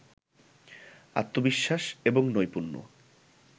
আত্নবিশ্বাস এবং নৈপূণ্য